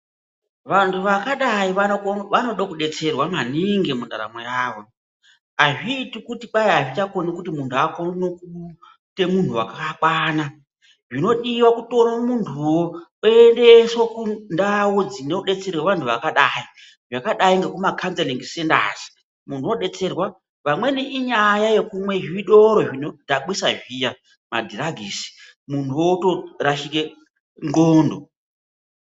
Vandu vakadai vanokona vandode kubetserwa maningi mundaramo yavo hazviiti kuti kwayi havachakoni kuti mundu akone kuite mundu wakakwana zvinodiwa kutore munduwoo oyendeswe kundawuu dzinoendeserwe vandu vakadai dzakadai ngekuma kanzelingi sendazi mundu obetserwa vamweni inyaya yekumwe zvitoro zvinodhakwisa zviya madhiragisi mundu otorashike ndxondo.